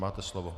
Máte slovo.